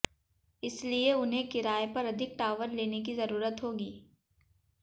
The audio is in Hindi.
इसलिए उन्हें किराये पर अधिक टावर लेने की जरूरत होगी